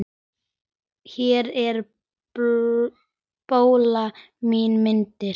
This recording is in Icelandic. Hér er bóla í myndun.